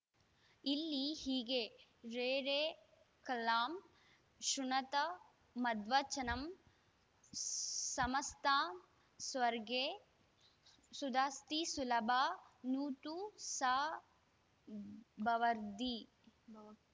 ಇಲ್ಲಿ ಹೀಗೆ ರೇ ರೇ ಖಲಾಃ ಶ್ರುಣುತ ಮದ್ವಚನಂ ಸಮಸ್ತಾಃ ಸ್ವರ್ಗೇ ಸುಧಾಸ್ತಿ ಸುಲಭಾ ನು ತು ಸಾ ಭವದ್ಭಿಃ